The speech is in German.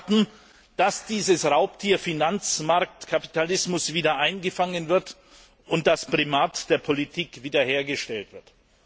Sie erwarten, dass dieses Raubtier Finanzmarktkapitalismus wieder eingefangen und das Primat der Politik wieder hergestellt wird.